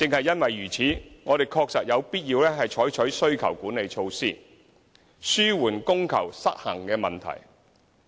因此，我們確實有必要採取需求管理措施，紓緩供求失衡的問題。